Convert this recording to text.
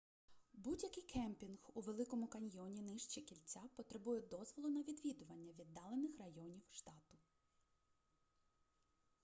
будь-який кемпінг у великому каньйоні нижче кільця потребує дозволу на відвідування віддалених районів штату